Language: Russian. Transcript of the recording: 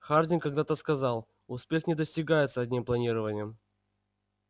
хардин когда-то сказал успех не достигается одним планированием